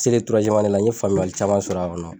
selen la n ye faamuyali caman sɔrɔ a kɔnɔ.